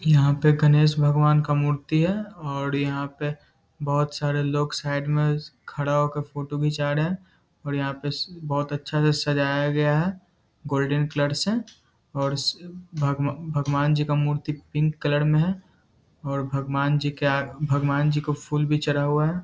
यहाँ पे गणेश भगवान का मूर्ति है और यहाँ पे बहुत सारे लोग साइड में खड़ा हो के फोटो खिंचा रहा हैं और यहाँ पे बहुत अच्छे से सजाया गया है गोल्डन कलर से और भगव भगवान जी का मूर्ति पिंक कलर में है और भगवान जी के आ भगवान जी को फूल भी चढ़ा हुआ हैं।